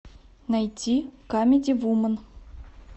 найти камеди вумен